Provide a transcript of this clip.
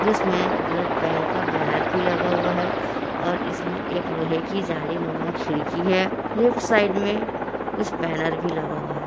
जिसमें blood bank का banner भी लगा हुआ है और इसमें एक लोहे की जालीनुमा खिड़की है लेफ्ट साइड में कुछ बैनर भी लगा हुआ है।